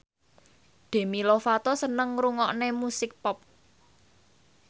Demi Lovato seneng ngrungokne musik pop